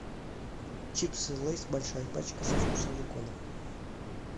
чипсы лейс большая пачка со вкусом бекона